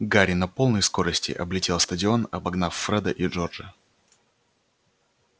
гарри на полной скорости облетел стадион обогнав фреда и джорджа